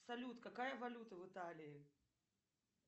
салют какая валюта в италии